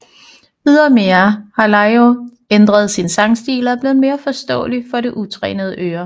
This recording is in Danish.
Ydermere har Laiho ændret sin sangstil og er blevet mere forståelig for det utrænede øre